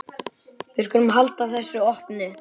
Við skulum halda þessu opnu.